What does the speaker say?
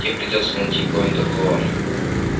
тебе придётся найти кого-нибудь другого